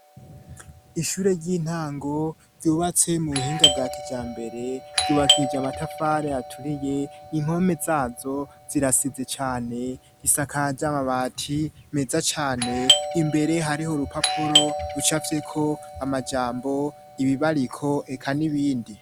Ishure ry'intango ryubatse mu buhinga bwa kijambere ryubakije amatafare aturiye impome zazo zirasize cyane gisakaja mabati meza cane imbere hariho rupapuro rucafyeko amajambo ibibariko reka n'ibindi.